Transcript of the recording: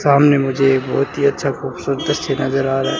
सामने मुझे बहुत ही अच्छा खूबसूरत तस्वीर नजर आ रहा है।